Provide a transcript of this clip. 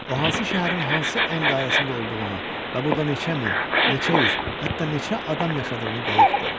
O hansı şəhərin hansı en dairəsində olduğunu və burda neçə min, neçə yüz, hətta neçə adam yaşadığını dəqiq bilirdi.